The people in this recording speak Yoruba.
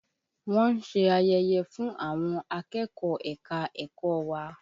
Wọ́n ń ṣe ayẹyẹ fún àwọn akẹ́kọ̀ọ́ ẹ̀ka-ẹ̀kọ́ wa